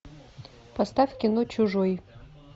поставь кино чужой